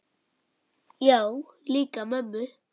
Já, líka mömmu